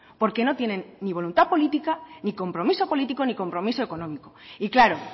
porque no tienen ni voluntad política ni compromiso político ni compromiso económico y claro